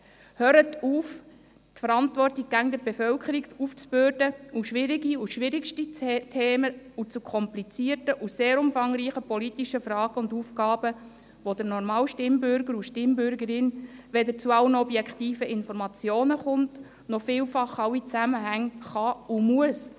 Hört auf, die Verantwortung immer der Bevölkerung aufzubürden bei schwierigen, schwierigsten Themen, zu komplizierten und sehr umfangreichen politischen Fragen und Aufgaben, zu denen der normale Stimmbürger und die normale Stimmbürgerin weder alle objektiven Informationen noch vielfach alle Zusammenhänge sehen kann und muss.